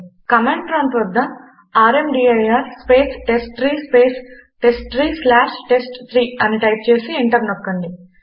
command prompt వద్ద rmdir space testtree space testtree slash టెస్ట్3 అని టైప్ చేసి ఎంటర్ నొక్కండి